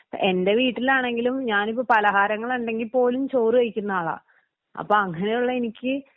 എൻ്റെ വീട്ടിലാണെങ്കിലും ഞാനിപ്പോ പലഹാരങ്ങൾ ഉണ്ടെങ്കി പോലും ചോറ് കഴിക്കുന്ന ആളാ അപ്പൊ അങ്ങനെയുള്ള എനിക്ക്